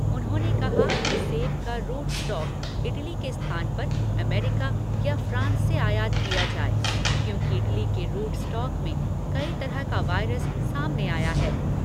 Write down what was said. उन्होंने कहा कि सेब का रूट स्टॉक इटली के स्थान पर अमेरिका या फ्रांस से आयात किया जाए क्योंकि इटली के रूट स्टॉक में कई तरह का वायरस सामने आया है।